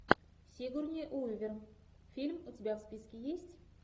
сигурни уивер фильм у тебя в списке есть